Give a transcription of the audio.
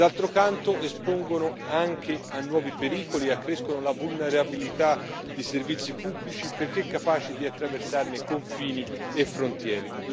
D'altro canto espongono anche a nuovi pericoli e accrescono la vulnerabilità dei servizi pubblici, perché capaci di attraversarne confini e frontiere.